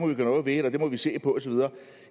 noget ved at det må vi se på osv